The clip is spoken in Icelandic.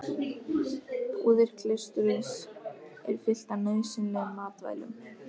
Búðir klaustursins eru fylltar nauðsynlegum matvælum.